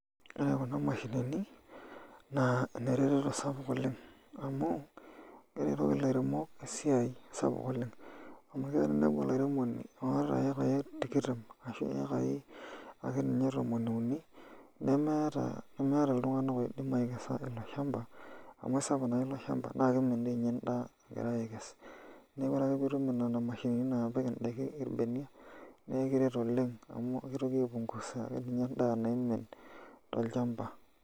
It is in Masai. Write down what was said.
Ore kuna mashinini na nerertoto sapuk oleng amu keretoki lairemok esiai oleng, amu kelo ninepuo olairemoni oota ekai tikitam ashu ekai ake nye tomoni uni nemeeta ltunganak oidim aikesa iloshamba amu aisapuk iloshamba nakeimin tiinye endaa egirai akes neaku ore ake piitum nona mashinini napik endaa irbeniak na ekiret oleng amu kitoki aipungusa sininye endaa naimin tolchamba.